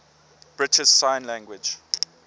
british sign language